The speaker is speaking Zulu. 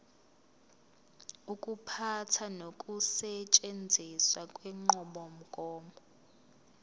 ukuphatha nokusetshenziswa kwenqubomgomo